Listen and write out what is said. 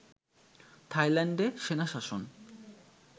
থাইল্যান্ডে সেনা শাসন